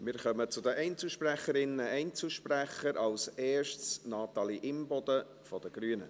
Wir kommen zu den Einzelsprecherinnen und Einzelsprechern, als Erste Natalie Imboden von den Grünen.